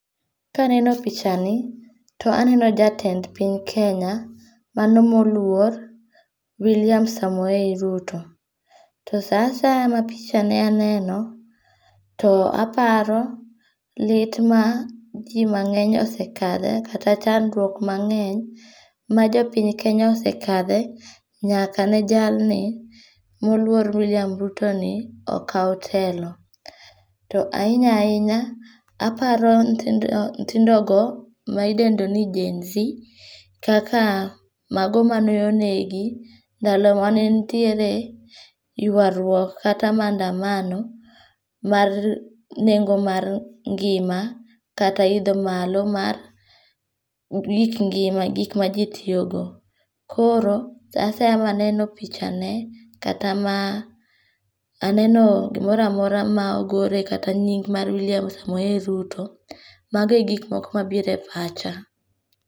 Kaneno pichani, to aneno jatend piny Kenya, mano moluor, William Samoei Ruto, to sa asaya ma pichane aneno to aparo lit ma ji mange'ny osekathe kata chandruok ma nge'ny majo piny Kenya osekathe, nyaka ne jalni moluor William Rutoni okaw telo. To ahinya hinya, aparo nyithindogo ma indendo ni genzi kaka mago mane onegi ndalo mane nitiere yuaruok kata mandamamo mar nengo' mar ngi'ma kata itho malo mar gik ngima gik ma ji tiyogo, koro sa asaya ma aneno pichane kata ma aneno gimora amora ma ogore kata nyig' mar William Samoi Ruto, mago e gik moko ma obiro e pacha.